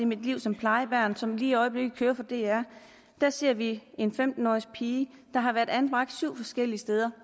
mit liv som plejebarn som i øjeblikket kører på dr ser vi en femten årig pige der har været anbragt syv forskellige steder